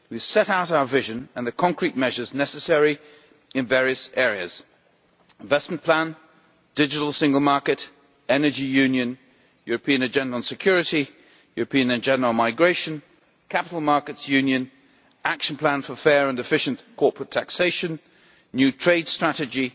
We have set out our vision and the concrete measures necessary in various areas investment plan, digital single market, energy union, European Agenda on Security, European Agenda on Migration, capital markets union, action plan for fair and efficient corporate taxation, new trade strategy,